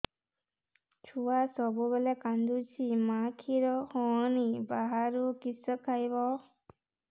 ଛୁଆ ସବୁବେଳେ କାନ୍ଦୁଚି ମା ଖିର ହଉନି ବାହାରୁ କିଷ ଖାଇବ